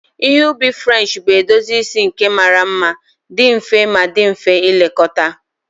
Ihe ubi French bụ edozi isi nke mara mma, dị mfe ma dị mfe ilekọta